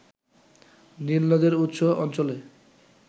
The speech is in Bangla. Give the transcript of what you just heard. নীল নদের উৎস অঞ্চলে